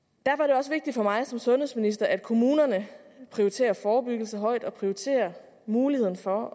og mig som sundhedsminister at kommunerne prioriterer forebyggelse højt og prioriterer muligheden for